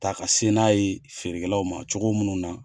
Ta ka sen n'a ye feerekɛlaw ma cogo minnu na